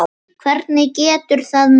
Hvernig getur það nú verið?